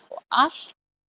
allt